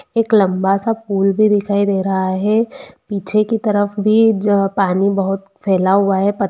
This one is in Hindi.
एक लम्बा सा पुल भी दिखाई दे रहा है पीछे की तरफ भी ज पानी बहुत फेला हुआ है प--